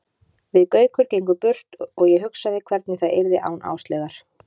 Við Gaukur gengum burt og ég hugsaði hvernig það yrði án Áslaugar.